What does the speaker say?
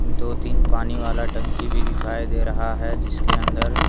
दो-तीन पानी वाला टंकी भी दिखाई दे रहा है जिसके अंदर--